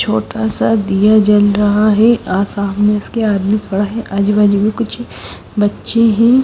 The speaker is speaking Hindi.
छोटा सा दिया जल रहा है आ सामने उसके आदमी खड़ा है आजू बाजू में कुछ बच्चे हैं।